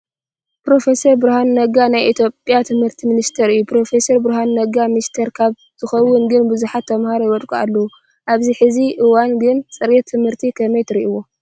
ፕሮፌስረ ብርሃነ ነጋ ናይ ኢትዮጵያ ትምህርቲ ሚንስቲር እዮ። ፕሮፌሰር ብርሃኑ ነጋ ሚንስተር ካብ ዝከውን ግን ብዙሓት ተምሃሮ ይወድቁ ኣለው ። ኣብዚ ሕዚ እዋን ግን ፅሬት ትምህርቲ ከመይ ትርኢዎ ?